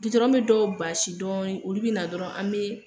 Gitɔrɔn be dɔw baasi dɔɔni, olu be na dɔrɔn an bee